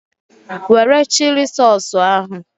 Were chili sausụ ahụ!